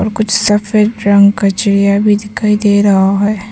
कुछ सफेद रंग का चिड़िया भी दिखाई दे रहा है।